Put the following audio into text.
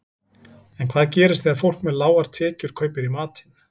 En hvað gerist þegar fólk með lágar tekjur kaupir í matinn?